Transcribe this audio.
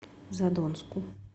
задонску